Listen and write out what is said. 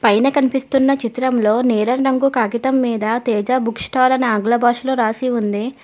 పైన కనిపిస్తున్న చిత్రంలో నీలం రంగు కాగితం మీద తేజ బుక్ స్టాల్ అని ఆంగ్ల భాషలో రాసి ఉంది.